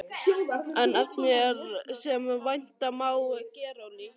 En efnið er, sem vænta má, gerólíkt.